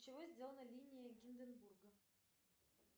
из чего сделана линия гинденбурга